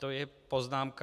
To je poznámka...